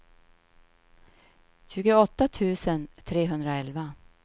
tjugoåtta tusen trehundraelva